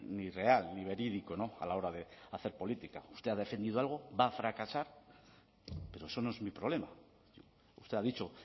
ni real ni verídico a la hora de hacer política usted ha defendido algo va a fracasar pero eso no es mi problema usted ha dicho